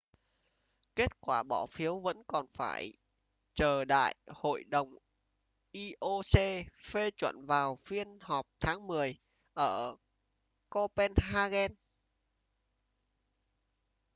kết quả bỏ phiếu vẫn còn phải chờ đại hội đồng ioc phê chuẩn vào phiên họp tháng mười ở copenhagen